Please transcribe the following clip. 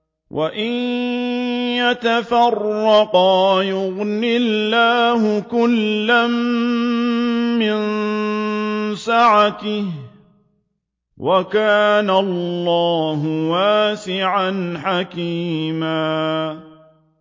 وَإِن يَتَفَرَّقَا يُغْنِ اللَّهُ كُلًّا مِّن سَعَتِهِ ۚ وَكَانَ اللَّهُ وَاسِعًا حَكِيمًا